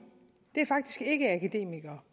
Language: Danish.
er faktisk ikke akademikere